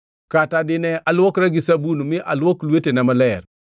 Kata dine aluokra gi sabun mi aluok lwetena maler,